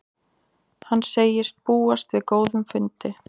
Hann segist búast við góðum fundi